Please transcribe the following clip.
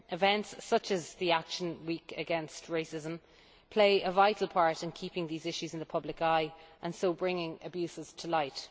Events such as the Action Week against Racism play a vital part in keeping these issues in the public eye and so bringing abuses to light.